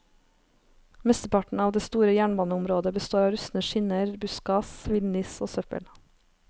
Mesteparten av det store jernbaneområdet består av rustne skinner, buskas, villniss og søppel.